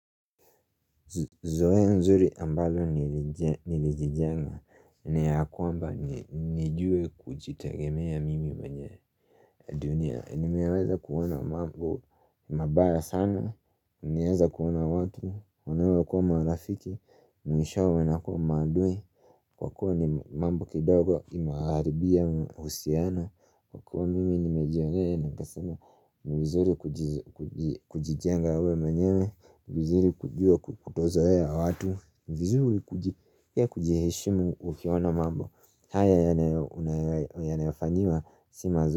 Zoea nzuri ambalo nilijijenga ni ya kwamba nijue kujitegemea mimi mwenye dunia. Nimeweza kuona mambo mabaya sana Nieza kuona wata wanaokua marafiki mwishowe wanakua maadui kwa kuwa ni mambo kidogo imewaharibia uhusiano kwa kuwa mimi nimejieree na kusema ni vizuri kujijenga uwe manyewe, vizuri kujua kutozoea watu, vizuri kuji pia kujiheshimu ufiona mambo haya yanayofanyiwa si mazu.